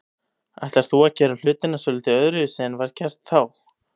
Ætlar þú að gera hlutina svolítið öðruvísi en var gert þá?